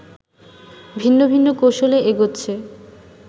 ভিন্ন ভিন্ন কৌশলে এগোচ্ছে